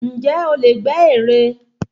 Ǹjẹ́ o lè gbẹ́ ère?